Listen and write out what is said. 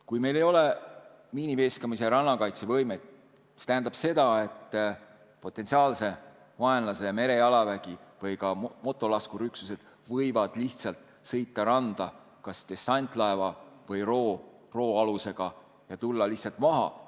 Kui meil ei ole miiniveeskamise ja rannakaitse võimet, siis see tähendab seda, et potentsiaalse vaenlase merejalaväe või ka motolaskurüksused võivad lihtsalt sõita randa kas dessantlaeva või ro-ro alusega ja tulla lihtsalt maale.